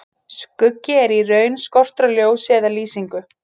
Skuggi er í raun skortur á ljósi eða lýsingu.